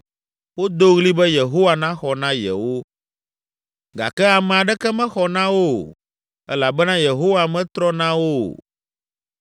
Wodo ɣli be Yehowa naxɔ na yewo gake ame aɖeke mexɔ na wo o elabena Yehowa metɔ na wo o.